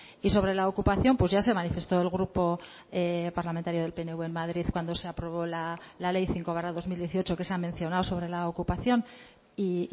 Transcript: y sobre la ocupación pues ya se manifestó el grupo parlamentario del pnv en madrid cuando se aprobó la ley cinco barra dos mil dieciocho que se ha mencionado sobre la ocupación y